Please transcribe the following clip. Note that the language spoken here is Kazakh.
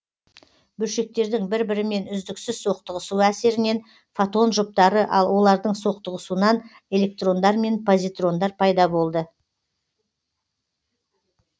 бөлшектердің бір бірімен үздіксіз соқтығысуы әсерінен фотон жұптары ал олардың соқтығысуынан электрондар мен позитрондар пайда болды